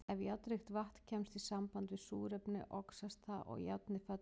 Ef járnríkt vatn kemst í samband við súrefni, oxast það og járnið fellur út.